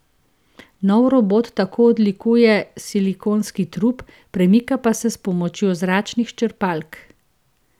Nov robot tako odlikuje silikonski trup, premika pa se s pomočjo zračnih črpalk.